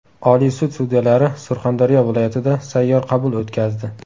Oliy sud sudyalari Surxondaryo viloyatida sayyor qabul o‘tkazdi.